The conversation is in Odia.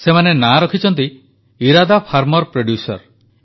ସେମାନେ ନାଁ ରଖିଛନ୍ତି ଇରାଦା ଫାର୍ମର ପ୍ରୋଡ୍ୟୁସର୍